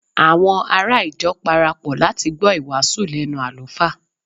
àwọn ará ìjọ parapọ láti gbọ iwasu lẹnu alufa